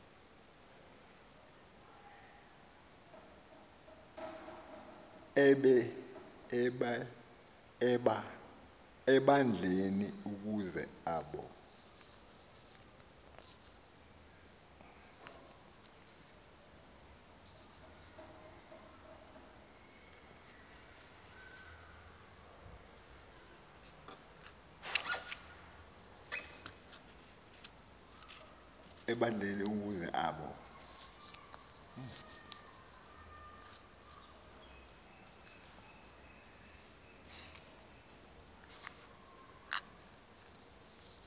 ebandleni ukuze abo